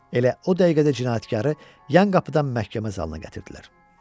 Elə o dəqiqə də cinayətkarı yan qapıdan məhkəmə zalına gətirdilər.